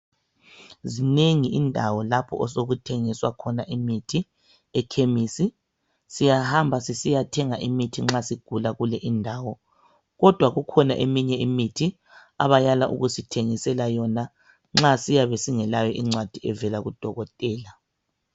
zinengi indawo lapho osokuthengiswa khona imithi ekhemisi siyahamba sisiyathenga imithi nxa sigula kule indawo kodwa kukhona eminye imithi abayala ukusithengisela yona nxa siyabe singelayo incwadi evela ku dokotela